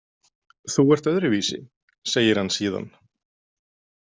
Þú ert öðruvísi, segir hann síðan.